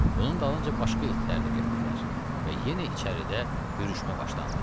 Bunun dalınca başqa itlər də getdilər və yenə içəridə hürüşmə başlandı.